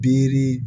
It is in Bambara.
Biri